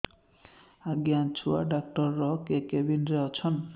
ଆଜ୍ଞା ଛୁଆ ଡାକ୍ତର କେ କେବିନ୍ ରେ ଅଛନ୍